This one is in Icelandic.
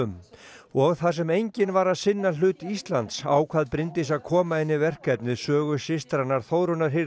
og þar sem enginn var að sinna hlut Íslands ákvað Bryndís að koma inn í verkefnið sögu systranna Þórunnar